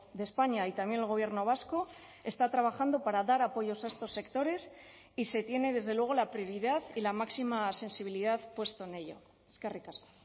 de españa y también el gobierno vasco está trabajando para dar apoyos a estos sectores y se tiene desde luego la prioridad y la máxima sensibilidad puesto en ello eskerrik asko